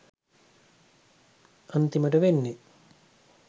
අන්තිමට වෙන්නේ